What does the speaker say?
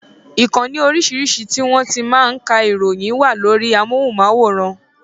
Ìkànnì orísirísi ti won ti n máa ń ka ìròyìn wà lórí amóhùnmáwòrán